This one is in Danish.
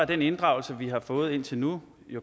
den inddragelse vi har fået indtil nu